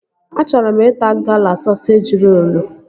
Achọrọ m ịta Gala sọseji rolu